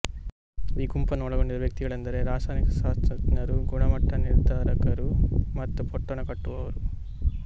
ಈ ಗುಂಪನ್ನು ಒಳಗೊಂಡಿರುವ ವ್ಯಕ್ತಿಗಳೆಂದರೆ ರಾಸಾಯನಶಾಸ್ತಜ್ಞರು ಗುಣಮಟ್ಟನಿರ್ಧಾರಕರು ಮತ್ತು ಪೊಟ್ಟಣ ಕಟ್ಟುವವರು